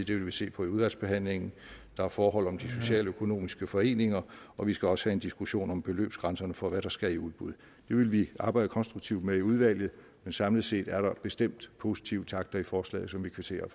det vil vi se på i udvalgsbehandlingen der er forhold om de socialøkonomiske foreninger og vi skal også have en diskussion om beløbsgrænserne for hvad der skal i udbud det vil vi arbejde konstruktivt med i udvalget men samlet set er der bestemt positive takter i forslaget som vi kvitterer